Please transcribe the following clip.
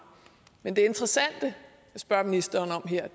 men det interessante jeg spørger ministeren om her er